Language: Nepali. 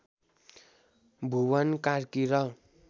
भुवन कार्की र